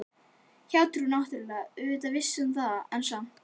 Hjátrú náttúrlega, auðvitað vissi hún það, en samt